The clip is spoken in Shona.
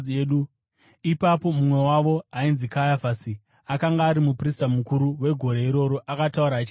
Ipapo mumwe wavo ainzi Kayafasi, akanga ari muprista mukuru wegore iroro akataura achiti, “Hamuna zvamunoziva imi!